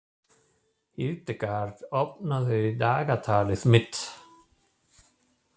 Hildegard, opnaðu dagatalið mitt.